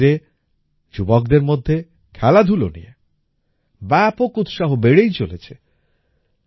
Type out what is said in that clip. কাশ্মীরে যুবকদের মধ্যে খেলাধুলা নিয়ে ব্যাপক উৎসাহ বেড়েই চলেছে